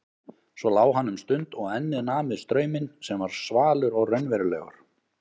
Svo lá hann um stund og ennið nam við strauminn sem var svalur og raunverulegur.